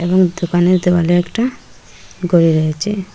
এবং দোকানের দেওয়ালে একটা গড়ি রয়েচে।